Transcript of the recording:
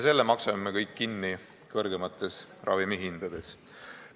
Selle maksame me kõik kõrgemate ravimihindade kujul kinni.